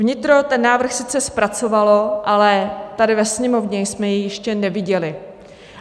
Vnitro ten návrh sice zpracovalo, ale tady ve Sněmovně jsme jej ještě neviděli.